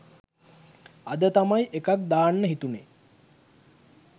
අද තමයි එකක් දාන්න හිතුනෙ.